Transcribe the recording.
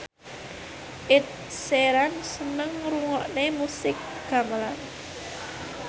Ed Sheeran seneng ngrungokne musik gamelan